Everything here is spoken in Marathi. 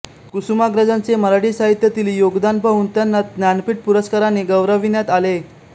कुसुमाग्रजांचे मराठी साहित्यातील योगदान पाहून त्यांनाज्ञानपीठपुरस्काराने गौरविण्यात आले